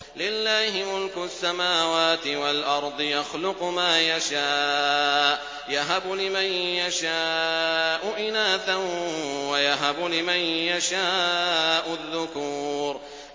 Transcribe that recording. لِّلَّهِ مُلْكُ السَّمَاوَاتِ وَالْأَرْضِ ۚ يَخْلُقُ مَا يَشَاءُ ۚ يَهَبُ لِمَن يَشَاءُ إِنَاثًا وَيَهَبُ لِمَن يَشَاءُ الذُّكُورَ